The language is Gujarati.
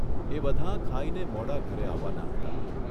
એ બધાં ખાઇને મોડાં ઘરે આવવાનાં હતાં.